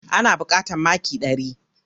Ana buƙatar maki ɗari biyu.